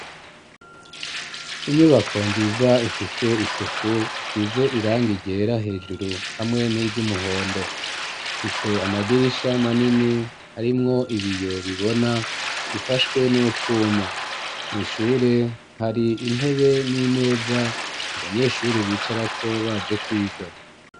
Inyubako nziza ifise isuku isize iranga igera hejuru hamwe n'iry'umuhondo mfise amadirisha manini arimwo ibiyo bibona bifashwe n'utwuma mu ishure hari intebe n'imeza abanyeshure bicarako baje kwiga.